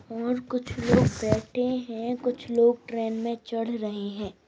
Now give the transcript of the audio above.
और कुछ लोग बैठे है और कुछ लोग ट्रेन में चढ़ रहे है।